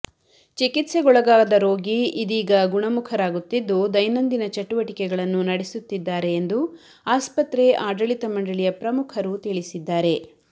ಚಿಕಿತ್ಸೆಗೊಳಗಾದ ರೋಗಿ ಇದೀಗ ಗುಣಮುಖರಾಗುತ್ತಿದ್ದು ದೈನಂದಿನ ಚಟುವಟಿಕೆಗಳನ್ನು ನಡೆಸುತ್ತಿದ್ದಾರೆ ಎಂದು ಆಸ್ಪತ್ರೆ ಆಡಳಿತ ಮಂಡಳಿಯ ಪ್ರಮುಖರು ತಿಳಿಸಿದ್ದಾರೆ